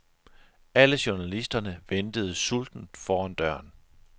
Alle journalisterne ventede sultent foran døren.